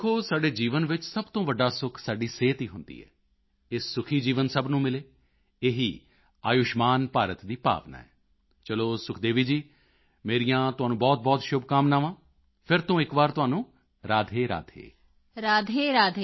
ਦੇਖੋ ਸਾਡੇ ਜੀਵਨ ਵਿੱਚ ਸਭ ਤੋਂ ਵੱਡਾ ਸੁਖ ਸਾਡੀ ਸਿਹਤ ਹੀ ਹੁੰਦੀ ਹੈ ਇਹ ਸੁਖੀ ਜੀਵਨ ਸਭ ਨੂੰ ਮਿਲੇ ਇਹੀ ਆਯੁਸ਼ਮਾਨ ਭਾਰਤ ਦੀ ਭਾਵਨਾ ਹੈ ਚਲੋ ਸੁਖਦੇਵੀ ਜੀ ਮੇਰੀਆਂ ਤੁਹਾਨੂੰ ਬਹੁਤਬਹੁਤ ਸ਼ੁਭਕਾਮਨਾਵਾਂ ਫਿਰ ਤੋਂ ਇੱਕ ਵਾਰ ਤੁਹਾਨੂੰ ਰਾਧੇਰਾਧੇ